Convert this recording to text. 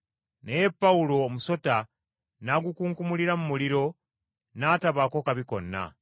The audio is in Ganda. Naye Pawulo omusota n’agukunkumulira mu muliro n’atabaako kabi konna.